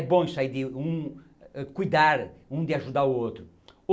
É bom isso aí de um cuidar um de ajudar o outro.